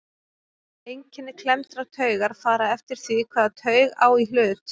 Einkenni klemmdrar taugar fara eftir því hvaða taug á í hlut.